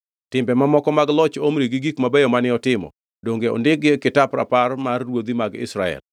Timbe mamoko mag loch Omri gi gik mabeyo mane otimo, donge ondikgi e kitap rapar mar ruodhi mag Israel?